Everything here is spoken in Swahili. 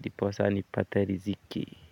ndiposa nipate riziki.